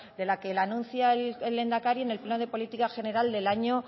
que la anuncia el lehendakari en el pleno de política general del año